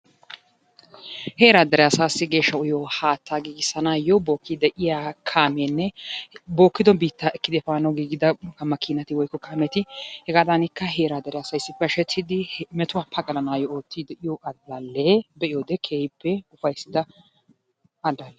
Heeraa dere asaassi geeshsha uyiyo haattaa giggissanaayo bookkidi de'iya kaameenne bookkiidi biittaa ekkidi efaanawu giiggida makkiinati woykko kaameeti hegaadanikka heeraa dere asay issippe hashshettidi metuwa pagalanayo oottidi de'iyo alaalee keehippe ufayssida alaalle.